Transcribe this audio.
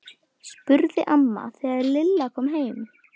spurði amma þegar Lilla kom heim.